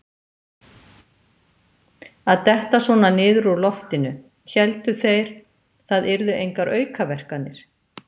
Að detta svona niður úr loftinu: héldu þeir það yrðu engar aukaverkanir?